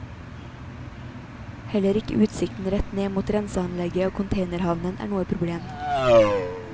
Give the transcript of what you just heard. Heller ikke utsikten rett ned mot renseanlegget og containerhavnen er noe problem.